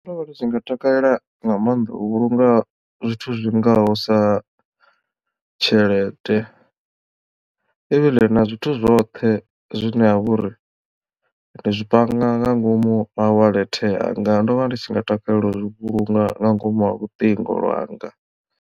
Ndo vha ndi tshi nga takalela nga maanḓa u vhulunga zwithu zwingaho sa tshelede ivhile na zwithu zwoṱhe zwine ha vha uri ndi zwi panga nga ngomu ha wallet yanga ndo vha ndi tshi nga takalela u vhulunga nga ngomu ha luṱingo lwanga.